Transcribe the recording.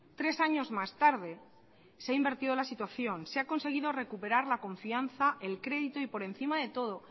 tres años más tarde se ha invertido la situación se ha conseguido recuperar la confianza el crédito y por encima de todo